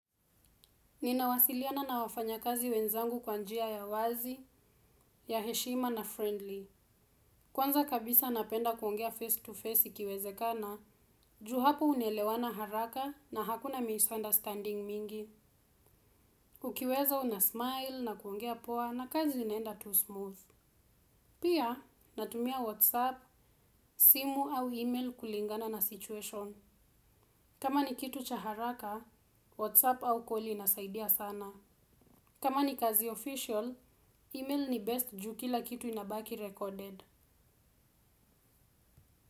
Ninawasiliana na wafanya kazi wenzangu kwa njia ya wazi, ya heshima na friendly. Kwanza kabisa napenda kuongea face to face ikiwezekana, juu hapo unaelewana haraka na hakuna misunderstanding mingi. Ukiweza unasmile na kuongea poa na kazi inaenda tu smooth. Pia, natumia whatsapp, simu au email kulingana na situation. Kama ni kitu cha haraka WhatsApp au calls inasaidia sana. Kama ni kazi official, email ni best juu kila kitu inabaki recorded.